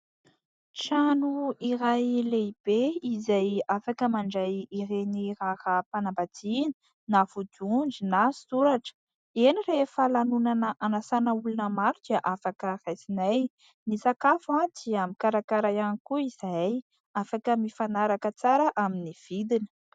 Trano iray lehibe izay afaka mandray ireny raharaham-panambadiana na vodiondry na soratra. Eny, rehefa lanonana anasana olona maro dia afaka raisinay. Ny sakafo dia mikarakara ihany koa izahay afaka mifanaraka tsara amin'ny vidiny.